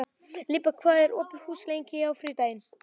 Líba, hvað er opið lengi á þriðjudaginn?